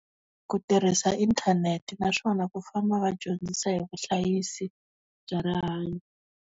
Ku tirhisa inthanete naswona ku famba va dyondzisa hi vuhlayisi, bya rihanyo.